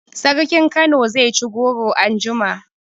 Sarkin Kano zai ci goro anjima